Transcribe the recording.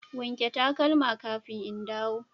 wanke takalma kafin in dawo.